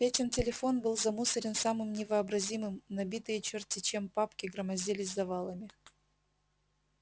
петин телефон был замусорен самым невообразимым набитые чёрт-те чем папки громоздились завалами